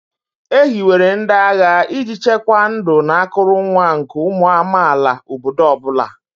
E hiwere ndị agha iji chekwaa ndụ na akụrụngwa nke ụmụ amaala obodo ọ bụla.